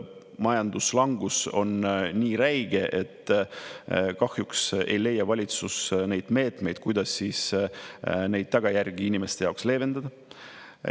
Majanduslangus on nii räige, et kahjuks ei leia valitsus meetmeid, kuidas neid tagajärgi inimeste jaoks leevendada.